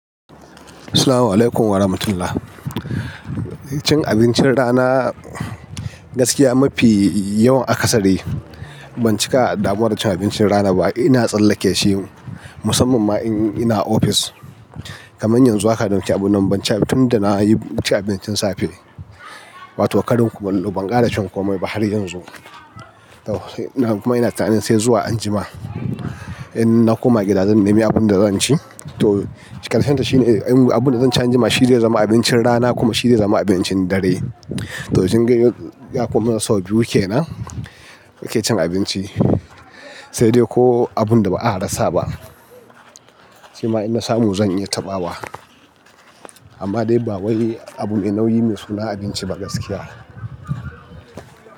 Assalamualaikum warahmatullahi. Cin abincin rana gaskiya mafi yawan a ƙasare ban cika damuwar cin abincin rana ba. Ina tsallake shi musamman ma in ina ofis kaman yanzu haka, don kyabu nan ban ci abinci ba tunda na yi abincin safe. Wato ƙarin kumallo ban ƙara cin komai ba har yanzu. To ina kuma ina tunanin sai zuwa anjima in na koma gida zan nemi abunda zan ci. To ƙarshenta shine abunda zan ci anjima shine zama abincin rana kuma shine zama abincin dare. To jingle yakomin sau biyu kenan nake cin abinci, sai dai ko abunda ba a rasa ba. Shima in na samu zan iya taɓawa. Amma dai ba wani abu ne nauyi mai suna abinci ba gaskiya.